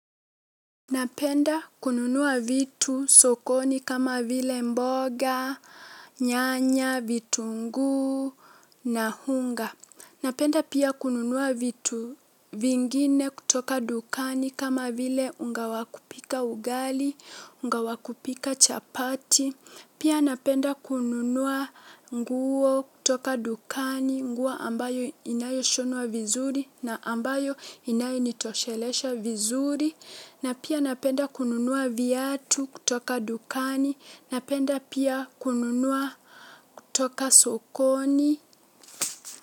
Napenda kununua vitu sokoni kama vile mboga, nyanya, vitunguu na unga. Napenda pia kununua vitu vingine kutoka dukani kama vile unga wa kupika ugali, unga wa kupika chapati. Pia napenda kununua nguo kutoka dukani, nguo ambayo inayo shonwa vizuri na ambayo inayo nitoshelesha vizuri. Na pia napenda kununua viatu kutoka dukani, napenda pia kununua kutoka sokoni.